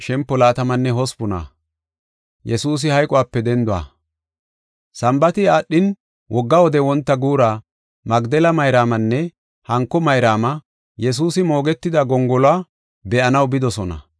Sambaati aadhin, wogga wode wonta guura, Magdela Mayraamanne hanko Mayraama Yesuusi moogetida gongoluwa be7anaw bidosona.